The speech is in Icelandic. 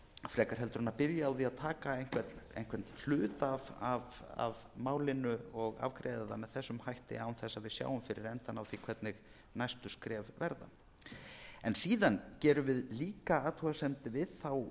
frekar en að byrja á því að taka einhvern hluta af málinu og afgreiða það með þessum hætti án þess að við sjáum fyrir endann á því hvernig næstu skref verða síðan gerum við líka athugasemd við þá